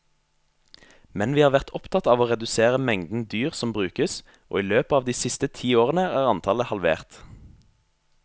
Men vi har vært opptatt av å redusere mengden dyr som brukes, og i løpet av de ti siste årene er antallet halvert.